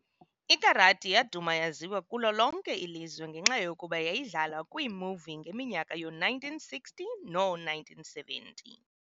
IKarati yaduma yaziwa kulo lonke ilizwe ngenxa yokokuba yayidlalwa kwiimovie ngeminyaka yoo1960 noo1970.